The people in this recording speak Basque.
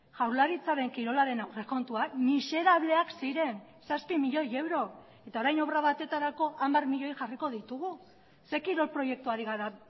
jaurlaritzaren kirolaren aurrekontuak miserableak ziren zazpi milioi euro eta orain obra batetarako hamar milioi jarriko ditugu ze kirol proiektu ari gara